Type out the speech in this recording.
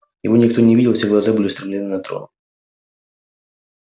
его никто не видел все глаза были устремлены на трон